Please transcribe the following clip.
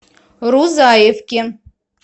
рузаевке